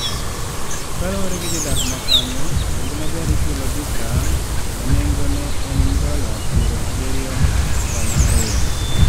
Kaluwore gi jodak makanyo, nengo maber ichulo bikra ma nego ne en dola piero abirio kod ariyo